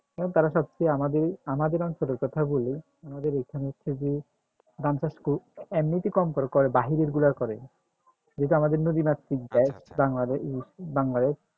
এখন তারা সবচেয়ে আমাদের আমাদের অঞ্চলের কথা বলি আমাদের এখানে হচ্ছে যে ধান চাষ এমনিতে কম করে করে বাহিরের গুলার করে